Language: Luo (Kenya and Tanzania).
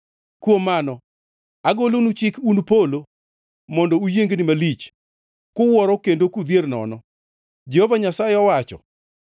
Kuom mano, agolonu chik, un polo, mondo uyiengni malich, kuwuoro kendo kudhier nono,” Jehova Nyasaye owacho.